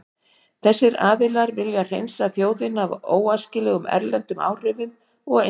Þessir aðilar vilja hreinsa þjóðina af óæskilegum erlendum áhrifum og einstaklingum.